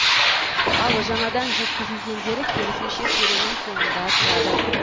ал жаңадан жеткізілгендері керісінше сөренің соңында тұрады